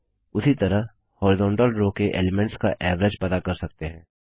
उसी तरह horizontal row के एलिमेंट्स का एवरेज पता कर सकते हैं